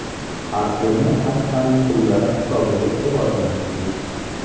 Artel’ni Akfa’ning pullari hisobiga rivojlantirdik.